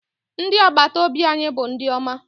Ndị agbataobi anyị bụ ndị ọma.